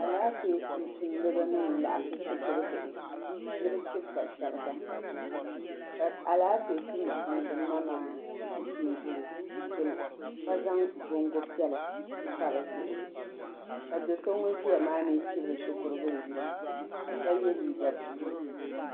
Alaafee tumtumdiba n laɣim shikuru bihi ni bi chibiba shiriga ka alaafee tumtumdiba ma maa zi tɛɛbuli gbuni ka zaŋ bongo piɛlla m-pa di zuɣu ka do so ŋuni ziya maa mi chibiri shikuru bili yino ka ye liiga buluu.